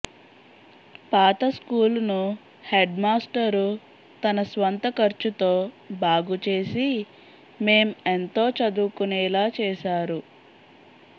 పాత స్కూలును హెడ్మాస్టరు తన స్వంత ఖర్చుతో బాగు చేసి మేం ఎంతో చదువుకునేలా చేసారు